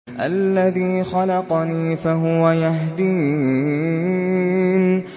الَّذِي خَلَقَنِي فَهُوَ يَهْدِينِ